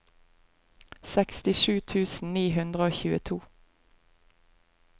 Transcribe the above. sekstisju tusen ni hundre og tjueto